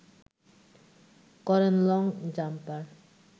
করেন long jumper